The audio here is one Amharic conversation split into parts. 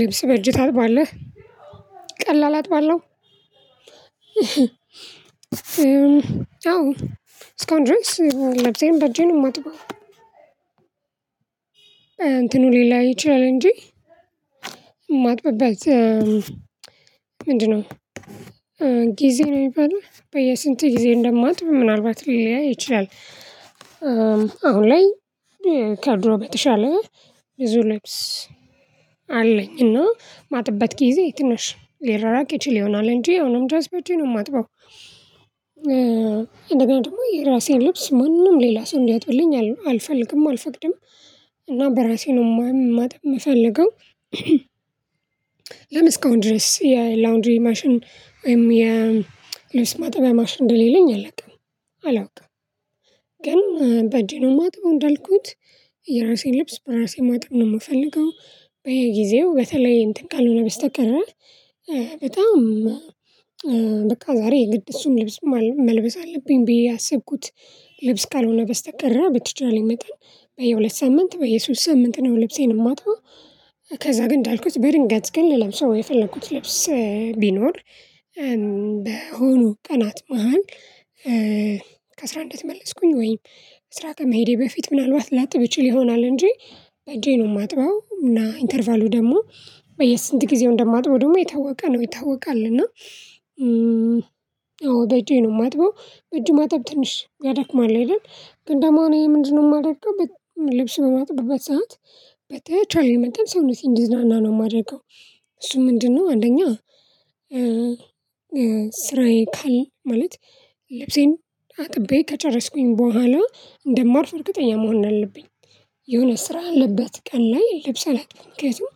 ልብስ በእጅህ ታጥባለህ? ቀላል አጥባለሁ አዎ እስካሁን ድረስ ልብሴን በእጄ ነው የማጥበው። እንትኑ ሊለያይ ይችላል እንጂ የማጥብበት ምንድነው ጊዜ ነው የሚባለው በየስንት ጊዜ እንደማጥብ ምናልባት ሊለያይ ይችላል። አሁን ላይ ከድሮ በተሻለ ብዙ ልብስ አለኝ እና ማጥብበት ጊዜ ትንሽ ሊራራቅ ይችል ይሆናል እንጂ አሁንም ድረስ በእጄ ነው የማጥበው። እንደገና ደግሞ የራሴን ልብስ ማንም ሌላ ሰው እንዲያጥብልኝ አልፈልግም አልፈቅድም እና በራሴ ነው ማ ማጠብ የምፈልገው ለምን እስካሁን ድረስ የላውንድሪ ማሽን ወይም የልብስ ማጠቢያ ማሽን እንደሌለኝ አላውቅም። አላውቅም ግን በእጄ ነው ማጥበው እንዳልኩት የራሴን ልብስ በራሴ ማጠብ ነው የምፈልገው። በየጊዜው በተለይ እንትን ካልሆነ በስተቀረ በጣም በቃ ዛሬ የግድ እሱም ልብስ መልበስ አለብኝ ብዬ ያሰብኩት ልብስ ካልሆነ በስተቀረ በተቻለኝ መጠን በየሁለት ሳምንት በየሶስት ሳምንት ነው ልብሴን የማጥበው። ከዛ ግን እንዳልኩት በድንገት ግን ልለብሰው የፈለኩት ልብስ ቢኖር በሆኑ ቀናት መሃል ከስራ እንደተመለስኩኝ ወይም ስራ ከመሄዴ በፊት ምናልባት ላጥብ ይችል ይሆናል እንጂ በአጄ ነው የማጥበው እና ኢንተርቫሉ ደግሞ በየስንት ጊዜው እንደማጥበው ደግሞ የታወቀ ነው። ይታወቃል እና አዎ በእጄ ነው የማጥበው በእጅ ማጠብ ትንሽ ያደክማል አይደል? ግን ደግሞ እኔ ምንድነው የማደርገው ልብስ በማጥብበት ሰዓት በተቻለኝ መጠን ሰውነቴ እንዲዝናና ነው የማደርገው። እሱ ምንድነው አንደኛ ስራዬ ካል ማለት ልብሴን አጥቤ ከጨረስኩኝ በኋላ እንደማርፍ እርግጠኛ መሆን አለብኝ። የሆነ ስራ ያለበት ቀን ላይ ልብስ አላጥብም። ምክንያቱም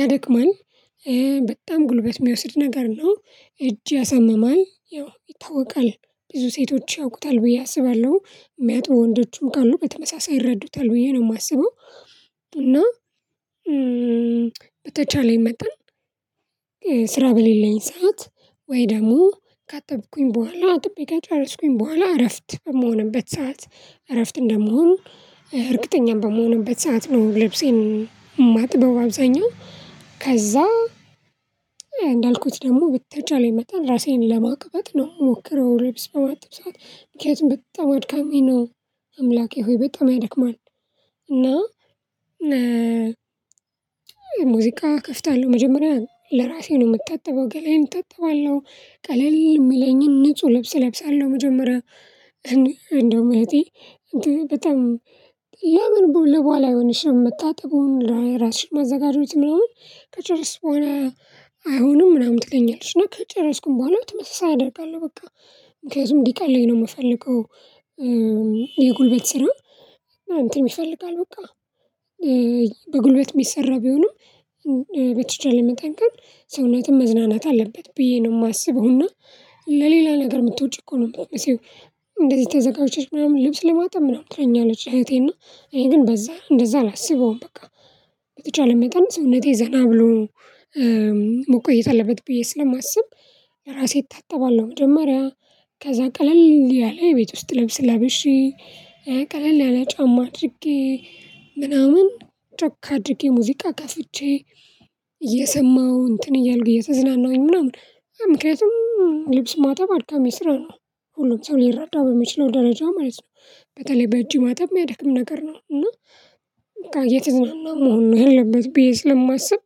ያደክማል በጣም ጉልበት የሚወስድ ነገር ነው። እጅ ያሳምማል። ያው ይታወቃል ብዙ ሴቶች ያውቁታል ብዬ አስባለሁ። የሚያጥቡ ወንዶችም ካሉ በተመሳሳይ ይረዱታል ብዬ ነው የማስበው። እና በተቻለኝ መጠን ስራ በሌለኝ ሰዓት ወይ ደግሞ ካጠብኩኝ በኋላ አጥቤ ከጨረስኩኝ በኋላ እረፍት የምንሆንበት ሰዓት እረፍት እንደምሆን እርግጠኛም በምሆንበት ሰዓት ነው ልብሴን የማጥበው አብዛኛው ከዛ እንዳልኩት ደግሞ በተቻለኝ መጠን እራሴን ለማቅበጥ ነው የምሞክረው ልብስ በማጥብ ሰዓት ምክንያቱም በጣም አድካሚ ነው አምላኬ ሆይ በጣም ያደክማል እና ሙዚቃ እከፍታለሁ መጀመሪያ ለራሴ ነው የምታጠበው ገላዬን እታጠባለሁ ቀለል የሚለኝን ንጹህ ልብስ እለብሳለሁ መጀመሪያ እንደውም እህቴ በጣም ለምን ለበኋላ አይሆንሽም? መታጠቡን፣ ራስሽን ማዘጋጀቱን ምናምን ከጨረስሽ በኋላ አይሆንም? ምናምን ትለኛለች እና ከጨረስኩም በኋላ ተመሳሳይ አደርጋለሁ በቃ። ምክንያቱም እንዲቀለኝ ነው የምፈልገው የጉልበት ስራ እንትን ይፈልጋል በቃ በጉልበት የሚሰራ ቢሆንም በተቻለ መጠን ግን ሰውነትም መዝናናት አለበት ብዬ ነው የማስበው እና ለሌላ ነገር የምትወጪ እኮ ነው የምትመስዪው። እንደዚህ ተዘጋጅተሽ ምናምን ልብስ ለማጠብ ምናምን ትለኛለች እህቴ። እና እኔ ግን በዛ እንደዛ አላስበውም በቃ በተቻለ መጠን ሰውነቴ ዘና ብሎ መቆየት አለበት ብዬ ስለማስብ ራሴ እታጠባለሁ መጀመሪያ። ከዛ ቀለል ያለ የቤት ውስጥ ልብስ ለብሼ ቀለል ያለ ጫማ አድርጌ ምናምን ጮክ አድርጌ ሙዚቃ ከፍቼ እየሰማሁ እንትን እያልኩ እየተዝናናሁኝ ምናምን ምክንያቱም ልብስ ማጠብ አድካሚ ስራ ነው ሁሉም ሰው ሊረዳው በሚችለው ደረጃ ማለት ነው በተለይ በእጅ ማጠብ የሚያደክም ነገር ነው እና እየተዝናናሁ መሆን ነው ያለበት ብዬ ስለማስብ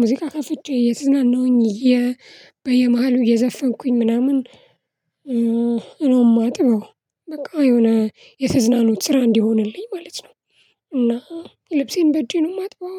ሙዚቃ ከፍቼ እየተዝናናሁኝ እየ በየመሃሉ እየዘፈንኩኝ ምናምን ነው የማጥበው በቃ የሆነ የተዝናኖት ስራ እንዲሆንልኝ ማለት ነው እና ልብሴን በእጄ ነው የማጥበው።